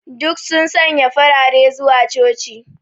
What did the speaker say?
Duk sun sanya farare zuwa coci.